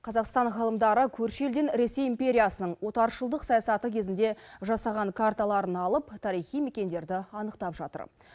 қазақстан ғалымдары көрші елден ресей империясының отаршылдық саясаты кезінде жасаған карталарын алып тарихи мекендерді анықтап жатыр